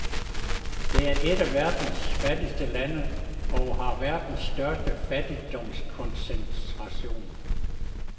Det er et af verdens fattigste lande og har verdens største fattigdomskoncentration.